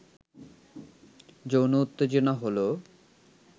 যৌন উত্তেজনা হলো